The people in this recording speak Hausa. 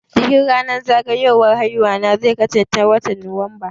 Bikin zagayo wan ranar aihuwana zai kasan ce watan Nuwamba